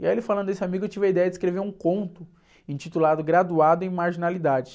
E aí ele falando desse amigo, eu tive a ideia de escrever um conto intitulado Graduado em Marginalidade.